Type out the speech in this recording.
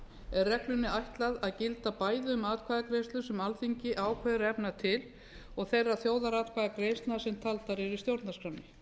er reglunni ætlað að gilda bæði um atkvæðagreiðslur sem alþingi ákveður að efna til og þeirra þjóðaratkvæðagreiðslna sem taldar eru í stjórnarskránni